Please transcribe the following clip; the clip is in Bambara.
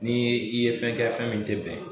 Ni i ye fɛn kɛ fɛn min te bɛn